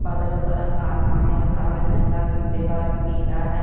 बादलो का रंग आसमानी और साफ़ झंडा झंडे का रंग पीला है।